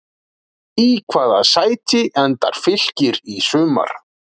Í hvaða sæti endar Fylkir í sumar?